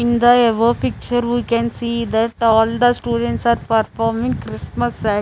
in the above picture we can see that all the students are performing christmas site.